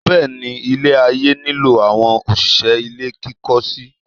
Bẹ́ẹ̀ ni, ilé-ayé nílò àwọn òṣìṣẹ́ ilé kíkọ́ síi.